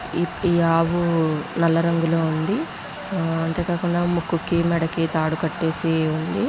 ఈ-ఈ ఆవు నల్ల రంగులో ఉంది ఆ అంతే కాకుండా ముక్కుకి మెడకి తాడు కట్టేసి ఉంది.